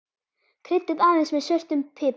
Kryddið aðeins með svörtum pipar.